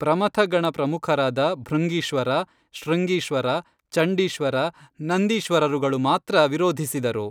ಪ್ರಮಥಗಣ ಪ್ರಮುಖರಾದ ಭೃಂಗೀಶ್ವರ, ಶೃಂಗೀಶ್ವರ, ಚಂಡೀಶ್ವರ, ನಂದೀಶ್ವರರುಗಳು ಮಾತ್ರ ವಿರೋಧಿಸಿದರು